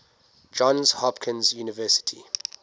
johns hopkins university